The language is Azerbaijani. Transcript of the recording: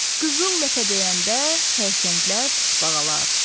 Qızıl ləpə döyəndə xərçənglər, tısbağalar.